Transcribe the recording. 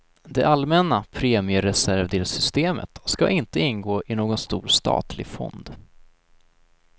Det allmänna premiereservdelsystemet skall inte ingå i någon stor statlig fond.